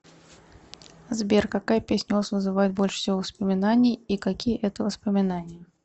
сбер какая песня у вас вызывает больше всего воспоминаний и какие это воспоминания